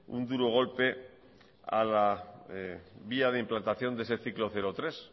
un duro golpe a la vía de implantación de ese ciclo cero tres